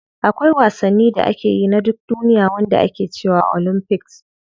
Akwai wasanni da ake yi na duk duniya wanda ake cewa olympics.